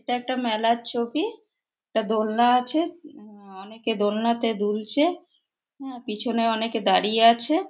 এটা একটা মেলার ছবি। একটা দোলনা আছে। উ-উ-ম অনেকে দোলনাতে দুলছে। হ্যা পিছনে অনেকে দাঁড়িয়ে আছে।